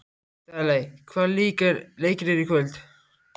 Daley, hvaða leikir eru í kvöld?